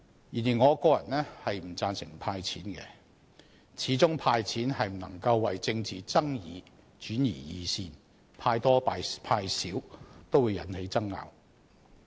然而，我個人不贊成"派錢"，始終"派錢"不能為政治爭議轉移視線，派多派少也會引起爭拗。